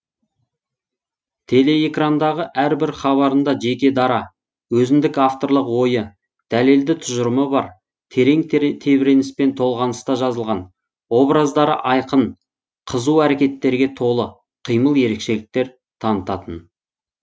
телеэкрандағы әрбір хабарында жеке дара өзіндік авторлық ойы дәлелді тұжырымы бар терең тебіреніспен толғаныста жазылған образдары айқын қызу әрекеттерге толы кимыл ерекшеліктер танытатын